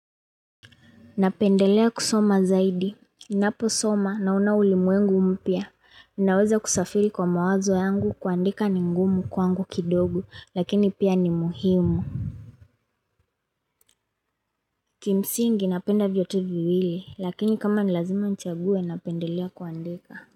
Napendelea kusoma zaidi, ninaposoma naona ulimwengu mpya, naweza kusafiri kwa mawazo yangu, kuandika ni ngumu kwangu kidogo lakini pia ni muhimu Kimsingi, napenda vyote viwili lakini kama ni lazima nichague napendelea kuandika.